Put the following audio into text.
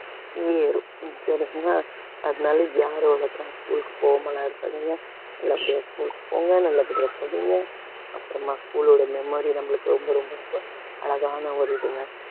ஏறும் அதனால யாரும் school க்கு போகாமலா இருக்காதீங்க நல்லபடியா school க்கு போங்க நல்லபடியா படிங்க அப்புறமா school ஓட memory நம்மளுக்கு ரொம்ப ரொம்ப ரொம்ப அழகான ஒரு இதுங்க